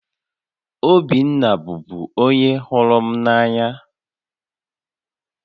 Obinna bụbu onye hụrụ m n'anya